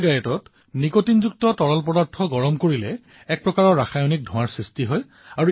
ইচিগাৰেটত নিকোটিনযুক্ত তৰল পদাৰ্থ গৰম কৰাৰ ফলত এক প্ৰকাৰৰ ৰাসায়নিক ধোঁৱাৰ সৃষ্টি হয়